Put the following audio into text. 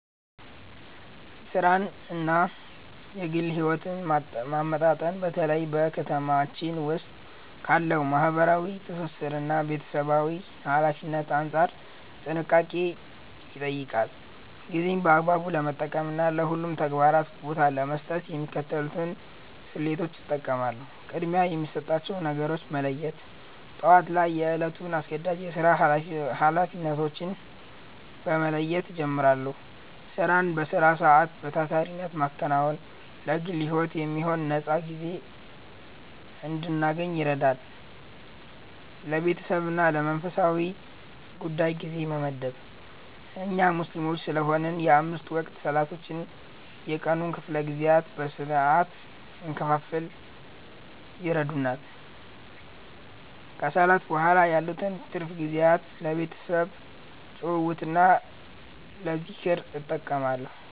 ሥራንና ግል ሕይወትን ማመጣጠን በተለይ በ ከተማችን ዉስጥ ካለው ማህበራዊ ትስስርና ቤተሰባዊ ኃላፊነት አንጻር ጥንቃቄን ይጠይቃል። ጊዜን በአግባቡ ለመጠቀምና ለሁሉም ተግባራት ቦታ ለመስጠት የሚከተሉትን ስልቶች እጠቀማለሁ፦ ቅድሚያ የሚሰጣቸውን ነገሮች መለየት፦ ጠዋት ላይ የዕለቱን አስገዳጅ የሥራ ኃላፊነቶች በመለየት እጀምራለሁ። ሥራን በሥራ ሰዓት በታታሪነት ማከናወን ለግል ሕይወት የሚሆን ነፃ ጊዜ እንድናገኝ ይረዳል። ለቤተሰብና ለመንፈሳዊ ጉዳይ ጊዜ መመደብ፦ እኛ ሙስሊም ስለሆንን የአምስት ወቅት ሰላቶች የቀኑን ክፍለ ጊዜያት በሥርዓት እንድንከፋፍል ይረዱናል። ከሰላት በኋላ ያሉትን ትርፍ ጊዜያት ለቤተሰብ ጭውውትና ለዝክር እጠቀማለሁ።